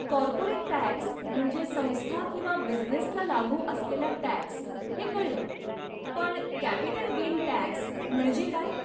Corporate tax म्हणजे संस्था किंवा बिझनेसला लागू असलेला टॅक्स हे कळलं, पण कॅपिटल गेन टॅक्स म्हणजे काय?